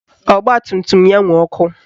Ọgbatumtum ya nwe ọkụ